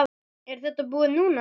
Er þetta búið núna?